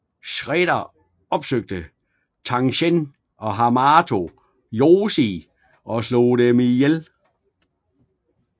Shredder opsøgte Tang Shen og Hamato Yoshi og slog dem ihjel